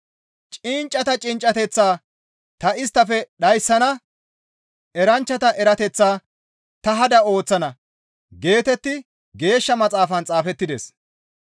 «Cinccata cinccateth ta isttafe dhayssana; eranchchata erateththaa ta hada ooththana» geetetti Geeshsha Maxaafan xaafettides.